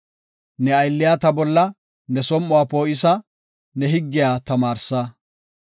Ne aylliya ta bolla ne som7uwa poo7isa; ne higgiya tamaarsa.